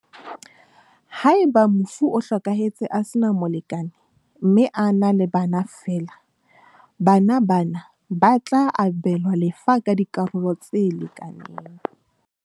Haeba mofu o hlokahetse a sena molekane mme a na le bana feela, bana ba na ba tla abelwa lefa ka dikaralo tse lekanang.